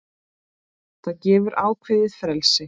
Það gefur ákveðið frelsi.